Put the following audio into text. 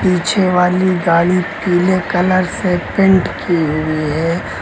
पीछे वाली गाड़ी पीले कलर से पेंट की हुई है।